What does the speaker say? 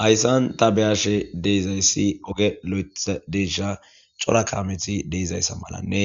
Hayssan tabeyashe deizayssi oge lo7eta deysha cora kameti deizayssa malanne